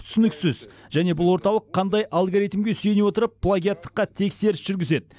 түсініксіз және бұл орталық қандай алгоритмге сүйене отырып плагиаттыққа тексеріс жүргізеді